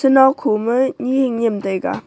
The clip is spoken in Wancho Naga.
nao kho ma ni hing niam taiga.